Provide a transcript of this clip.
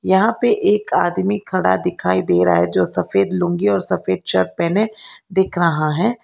यहां पे एक आदमी खड़ा दिखाई दे रहा है जो सफेद लूंगी और सफेद शर्ट पहने दिख रहा है।